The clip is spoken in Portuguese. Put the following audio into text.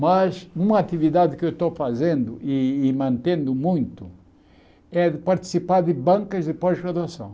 Mas uma atividade que eu estou fazendo e e mantendo muito é participar de bancas de pós-graduação.